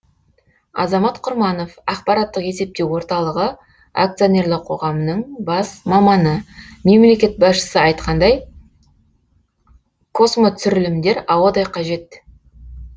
азамат құрманов ақпараттық есептеу орталығы акционерлі қоғамының бас маманы мемлекет басшысы айтқандай космотүсірілімдер ауадай қажет